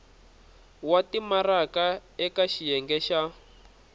wa timaraka eka xiyenge xa